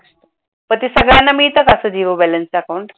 मग ते सगळ्यांना मिळते का अस zero balance च account